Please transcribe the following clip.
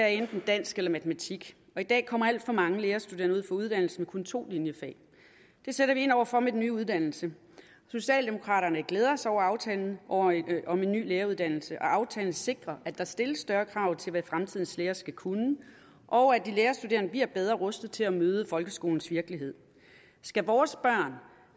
enten dansk eller matematik for i dag kommer alt for mange lærerstuderende ud fra uddannelsen med kun to linjefag det sætter vi ind over for med den nye uddannelse socialdemokraterne glæder sig over aftalen om en ny læreruddannelse og aftalen sikrer at der stilles større krav til hvad fremtidens lærere skal kunne og at de lærerstuderende bliver bedre rustet til at møde folkeskolens virkelighed skal vores børn